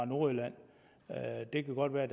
nordjylland det kan godt være